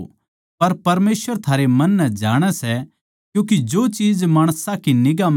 फरीसी जो लोभ्भी थे ये सारी बात सुणकै मखौल करण लाग्गे